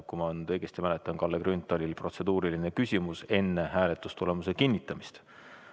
Kui ma õigesti mäletan, oli Kalle Grünthalil protseduuriline küsimus enne hääletustulemuse kinnitamist.